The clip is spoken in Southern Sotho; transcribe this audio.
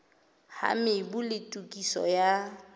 ha mobu le tokiso ya